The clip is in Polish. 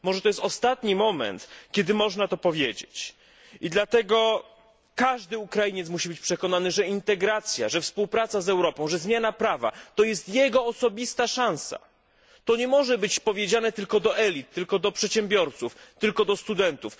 Może to jest ostatni moment, kiedy można to powiedzieć i dlatego każdy Ukrainiec musi być przekonany, że integracja, że współpraca z Europą, że zmiana prawa, to jest jego osobista szansa. To nie może być powiedziane tylko do elit, tylko do przedsiębiorców, tylko do studentów.